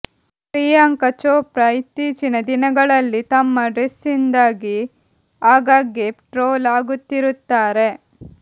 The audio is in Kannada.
ಪ್ರಿಯಾಂಕಾ ಚೋಪ್ರಾ ಇತ್ತೀಚಿನ ದಿನಗಳಲ್ಲಿ ತಮ್ಮ ಡ್ರೆಸ್ನಿಂದಾಗಿ ಆಗಾಗ್ಗೆ ಟ್ರೋಲ್ ಆಗುತ್ತಿರುತ್ತಾರೆ